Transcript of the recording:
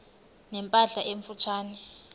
ne mpahla emfutshane